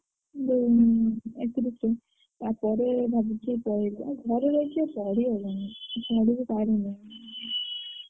ଯୋଉ ଏକତିରିଶି ତାପରେ ଭାବୁଛି ଯେ ପଳେଇବି ଆଉ ଘରେ ରହିକି ପଢି ହବନି।